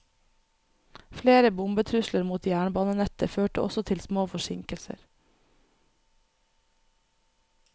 Flere bombetrusler mot jernbanenettet førte også til små forsinkelser.